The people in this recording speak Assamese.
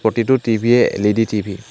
প্ৰতিটো টি_ভি য়েই এল_ই_ডি টি_ভি ।